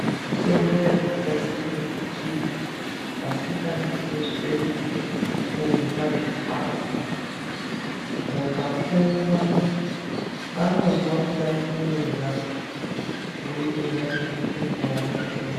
Mitombo yakagadzirirwe kuti asingadi kuzwe kurye zvikafu. Vakaumwa vanozwa kuda kurya kubudikidza ngemutombo vavanenge vamwa.